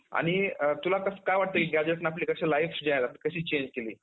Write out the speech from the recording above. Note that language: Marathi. आणि अ तुला कसं काय वाटतं की gazetteने आपली कशी life जी आहे ती कशी change केली?